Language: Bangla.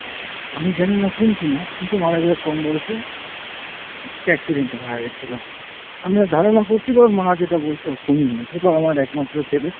আমি জানিনা খুন কিনা কিন্তু মারা যায় কম বয়সে, একটা accident এ মারা গেছিলো। আমি যা ধারণা করছি বা ওর মা যেটা বলছে ও খুনই হয়েছে। বাবা মার একমাত্র ছেলে।